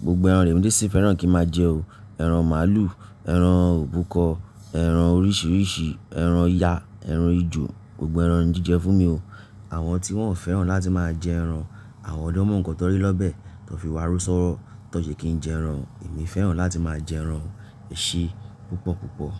Gbogbo ẹran lemi dé sì fẹ́ràn kí n máa jẹ o. Ẹran màlúù, ẹran òbúkọ, ẹran oríṣìíríṣìí, ẹran ya, ẹran ejò, gbogbo ẹran jíjẹ fún mi o. Àwọn tí wọ́n ò fẹ́ràn láti máa jẹ ẹran, àwọn lọ́mọ nkàn tọrí l'ọ́bẹ̀, tọ́ fi wá ró sọ́wọ́, tọ́ ṣe kí n jẹ ẹran. Èmi fẹ́ràn láti máa jẹ ẹran èṣe púpọ̀púpọ̀.